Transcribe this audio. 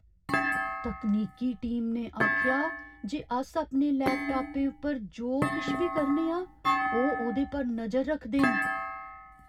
तकनीकी टीम ने आखेआ जे अस अपने लैपटापें पर जो किश बी करने आं, ओह् ओह्दे पर नजर रखदे न।